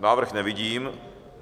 Návrh nevidím.